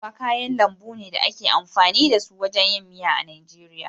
Kuɓewa kayan lambu ne da ake amfani da su wajen yin miya a Najeriya.